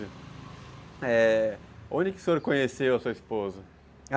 É... Onde que o senhor conheceu a sua esposa?